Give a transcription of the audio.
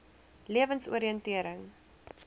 lewensoriëntering